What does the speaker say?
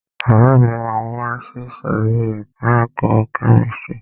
Ọ̀rẹ́ mi máa wá sí ìsòrí ẹka ẹ̀kọ́ kẹ́místrì.